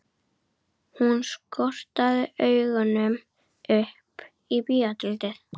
Hún skotraði augunum upp á bíótjaldið.